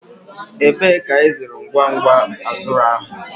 Ebee ka ịzụrụ ngwa ngwa azure ahụ?